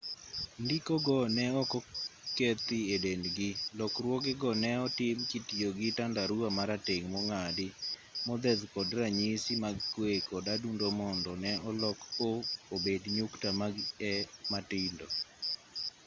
ndiko go ne ok okethi e dendgi lokruoge go ne otim kitiyo gi tandarua marateng' mong'adi modheth kod ranyisi mag kwe kod adundo mondo ne olok o obed nyukta mag e matindo